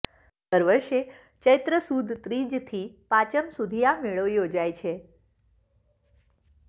દર વર્ષે ચેત્ર સુદ ત્રીજથી પાચમ સુધી આ મેળો યોજાય છે